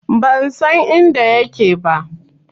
Ban san inda yake ba.